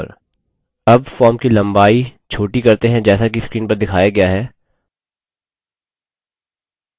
अब फॉर्म की लम्बाई छोटी करते हैं जैसा कि screen पर दिखाया गया है